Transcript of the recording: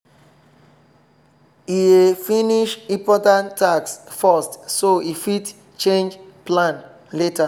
e dey finish important task first so e fit change plan later